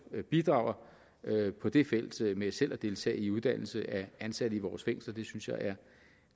bidrager på det felt med selv at deltage i uddannelse af ansatte i vores fængsler det synes jeg er